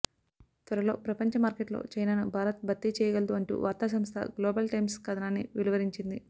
త్వరలో ప్రపంచమార్కెట్లో చైనాను భారత్ భర్తీ చేయగలదు అంటూ వార్తాసంస్థ గ్లోబల్ టైమ్స్ కథనాన్ని వెలువరించింది